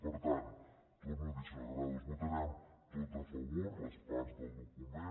per tant ho torno a dir senyora granados ho votarem tot a favor les parts del document